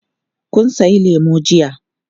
Kun sayi lemu jiya.